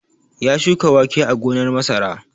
Ya shuka wake a gonar masara.